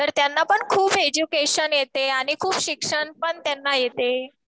तर त्यांना पण खूप एज्युकेशन येते. आणि खुप शिक्षण पण त्यांना येते.